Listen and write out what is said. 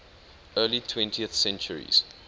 early twentieth centuries